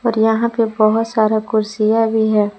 और यहां पर बहोत सारा कुर्सियां भी है।